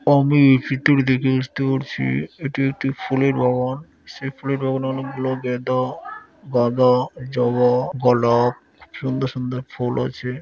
আমি এই চিত্রটি দেখে বুঝতে পারছি এটি একটি ফুলের বাগান সেই ফুলের বাগানে অনেক গুলো গেঁদা গাঁদা জবা গোলাপ সুন্দর সুন্দর ফুল আছে।